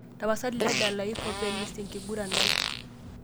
tapasali tadalayu pop elist enkiguran ai